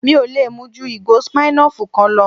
Mi ò lè mu ju ìgò Smirnoff kan lọ